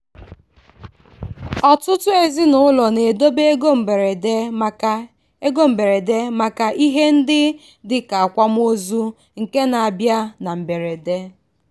ọtụtụ ezinụlọ na-edobe ego mberede maka ego mberede maka ihe ndị dị ka akwamozu nke na-abịa na mberede.